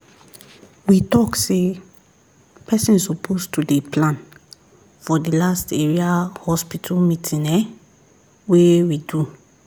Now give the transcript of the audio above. we talk say person suppose to dey plan for the last area hospital meeting ehnn wey we do